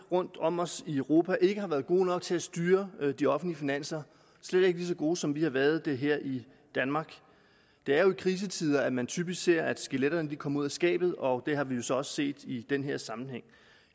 rundt om os i europa ikke har været gode nok til at styre de offentlige finanser slet ikke lige så gode som vi har været det her i danmark det er jo i krisetider at man typisk ser at skeletterne kommer ud af skabet og det har vi jo så også set i den her sammenhæng